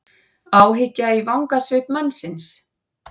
Áhyggja í vangasvip mannsins.